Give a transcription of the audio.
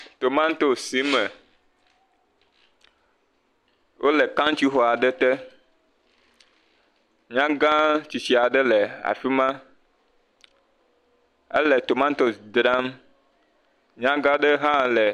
Tomatosi sime, wolɔ kaŋtsixɔ aɖe te. Nyagã tsitsi aɖe le afi ma. Ele tomatosi dzram.